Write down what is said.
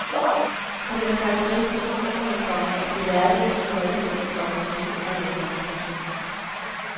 For det var karakteristisk for romerne, komma at de lærte af de folkeslag, komma som de underlagde sig. punktum